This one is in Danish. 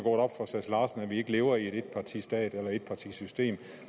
vi ikke lever i en etpartistat eller i et etpartisystem